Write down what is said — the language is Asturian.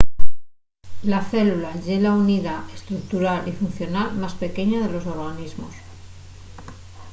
la célula ye la unidá estructural y funcional más pequeña de los organismos